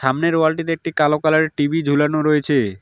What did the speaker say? সামনের ওয়াল -টিতে একটি কালো কালার -এর টি_ভি ঝুলানো রয়েছে।